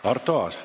Arto Aas.